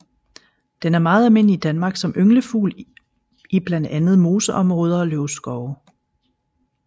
Den er meget almindelig i Danmark som ynglefugl i blandt andet moseområder og løvskove